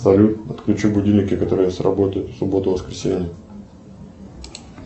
салют отключи будильники которые сработают в субботу воскресенье